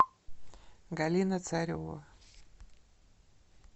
галина царева